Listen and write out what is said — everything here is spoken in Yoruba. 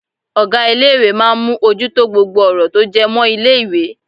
Ọ̀gá ilé ìwé máà ń mú ojú tó gbogbo ọ̀rọ̀ tó jẹ́ mọ́ ilé ìwé.